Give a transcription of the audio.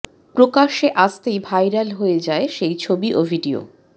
প্রকাশ্যে আসতেই ভাইরাল হয়ে যায় সেই ছবি ও ভিডিও